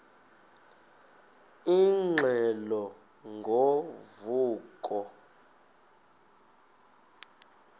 ingxelo ngo vuko